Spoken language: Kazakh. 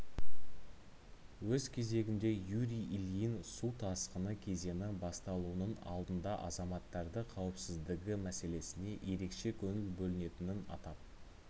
өз кезегінде юрий ильин су тасқыны кезеңі басталуының алдында азаматтарды қауіпсіздігі мәселесіне ерекше көңіл бөлінетінін атап